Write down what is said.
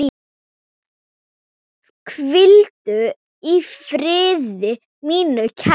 Hvíldu í friði, mín kæra.